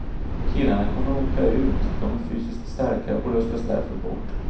Killarna kommer åka ut, de är fysiskt starka och röstas därför bort.